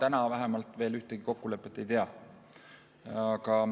Mina vähemalt täna veel ühtegi kokkulepet ei tea.